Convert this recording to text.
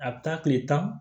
A bɛ taa tile tan